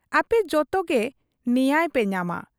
ᱟᱯᱮ ᱡᱚᱛᱚᱜᱮ ᱱᱮᱭᱟᱭ ᱯᱮ ᱧᱟᱢᱟ ᱾